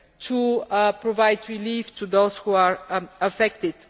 to provide relief to those who are affected.